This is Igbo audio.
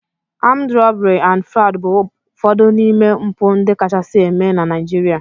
Armed robbery and Fraud bụ ụfọdụ n'ime mpụ ndị kachasị eme na Naịjirịa